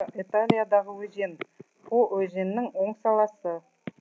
италиядағы өзен по өзенінің оң саласы